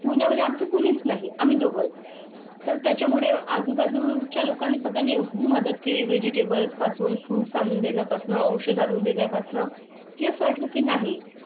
पुण्या मध्ये आम चं कुणीच नाही. आम्ही दोघंच तर त्याच्या मुळे आजूबाजूच्या लोकांना सगळी मदत केली. वेजिटेबल पासून फ्रुटस आणून देण्या पासून औषध आणून देण्या पासून केस वाटलं की नाही?